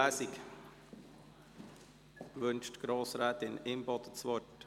Wünscht Grossrätin Imboden das Wort?